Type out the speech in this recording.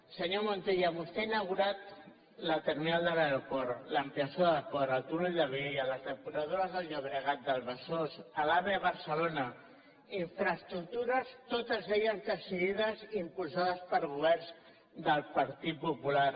senyor montilla vostè ha inaugurat la terminal de l’aeroport l’ampliació del port el túnel de viella les depuradores del llobregat del besòs l’ave a barcelona infraestructures totes elles decidides i impulsades per governs del partit popular